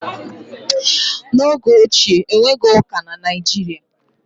n'oge ochie, e nweghị ụka na Nigeria